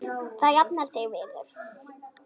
Þú jafnar þig vinur.